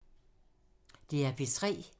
DR P3